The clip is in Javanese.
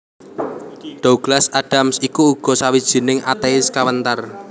Douglas Adams iku uga sawijining atéis kawentar